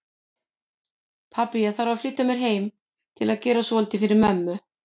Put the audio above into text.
Pabbi, ég þarf að flýta mér heim til að gera svolítið fyrir mömmu